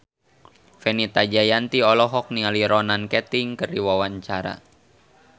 Fenita Jayanti olohok ningali Ronan Keating keur diwawancara